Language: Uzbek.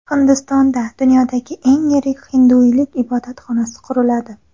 Hindistonda dunyodagi eng yirik hinduiylik ibodatxonasi quriladi.